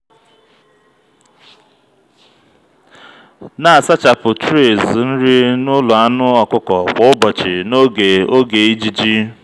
na-asachapụ trays nri n'ụlọ anụ ọkụkọ kwa ụbọchị n'oge oge ijiji.